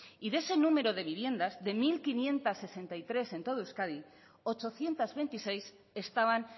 y de ese número de viviendas de mil quinientos sesenta y tres en todo euskadi ochocientos veintiséis estaban